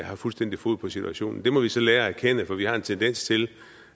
har fuldstændig fod på situationen det må vi så lære at erkende for vi har en tendens til